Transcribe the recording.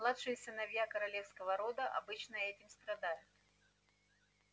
младшие сыновья королевского рода обычно этим страдают